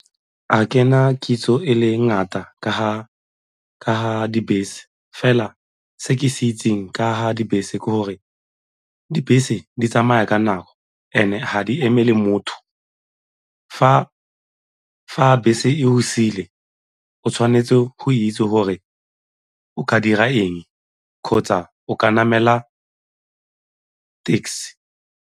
Ga kena kitso e le ngata ka ga dibese fela se ke se itseng ka ga dibese ke gore dibese di tsamaya ka nako and-e ga di emele motho. Fa bese e go siile o tshwanetse go itse gore o ka dira eng kgotsa o ka namela taxi.